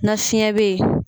Na fiɲɛ bɛ ye.